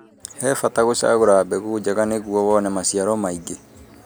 He bata gũcagũra mbegu njega nĩ guo wone maciaro maingĩ